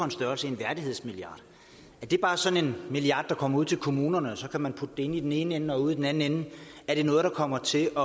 en størrelse en værdighedsmilliard er det bare sådan en milliard der kommer ud til kommunerne og så kan man putte den ind i den ene ende og ude i den anden ende kommer til at